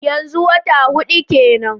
Yanzu wata hudu kenan?